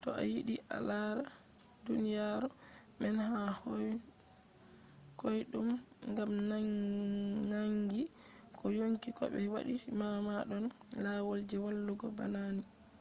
to a yiɗi a lara duniyaru man ha koyɗum ngam naangi ko yonki ko ɓe waati ma ɗon lawol je waɗugo bana ni